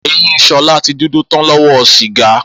Eyín S̩o̩lá ti dúdú tán ló̩wó̩ sìgá